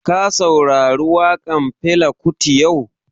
Ka saurari waƙan Fela kuti yau?